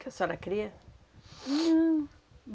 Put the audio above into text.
Que a senhora cria? Não,